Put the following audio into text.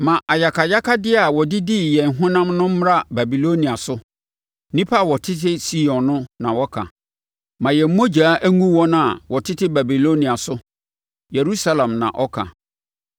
Ma ayakayakadeɛ a wɔde dii yɛn honam no mmra Babilonia so,” nnipa a wɔtete Sion na wɔka. “Ma yɛn mogya ngu wɔn a wɔtete Babilonia so,” Yerusalem na ɔka.